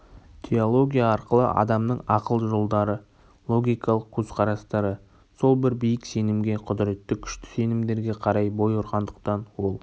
теология арқылы адамның ақыл жолдары логикалық көзқарастары сол бір биік сенімге құдіреті күшті сенімдерге қарай бой ұрғандықтан ол